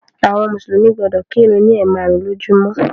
Àwọn mùsùlùmí gbọdọ̀ kírun ni ẹ̀maarun lójúmó.